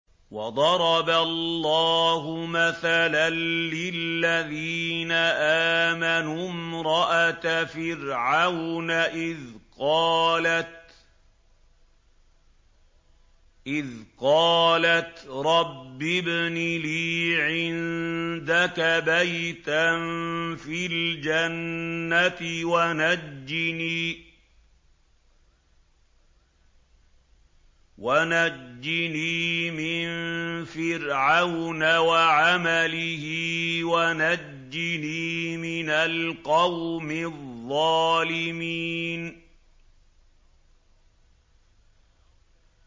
وَضَرَبَ اللَّهُ مَثَلًا لِّلَّذِينَ آمَنُوا امْرَأَتَ فِرْعَوْنَ إِذْ قَالَتْ رَبِّ ابْنِ لِي عِندَكَ بَيْتًا فِي الْجَنَّةِ وَنَجِّنِي مِن فِرْعَوْنَ وَعَمَلِهِ وَنَجِّنِي مِنَ الْقَوْمِ الظَّالِمِينَ